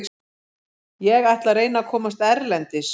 Ég ætla að reyna að komast erlendis.